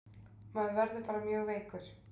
Maður var bara mjög veikur.